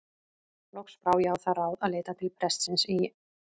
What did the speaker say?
Loks brá ég á það ráð að leita til prestsins í